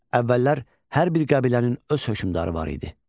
Əvvəllər hər bir qəbilənin öz hökmdarı var idi.